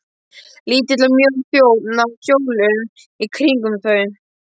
Lítill og mjór þjónn á hjólum í kringum þau.